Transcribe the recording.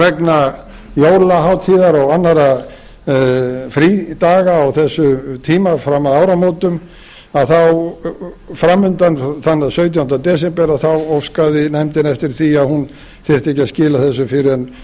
vegna jólahátíðar og annarra frídaga á þessum tíma fram að áramótum að þá framundan þann sautjánda desember að þá óskaði nefndin eftir því að hún þyrfti ekki að skila þessu fyrr en